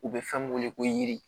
U bɛ fɛn min wele ko yiri